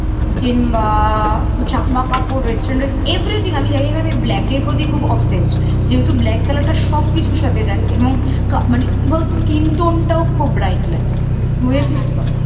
কিংবা জামা কাপড় western dress everything আমি জানিনা কারণ আমি black এর প্রতি খুব obssesed যেহেতু black colour টার সবকিছুর সাথে যায় এবং মানে কি বলতো skin tone টাও খুব bright লাগে বুঝেছিস তো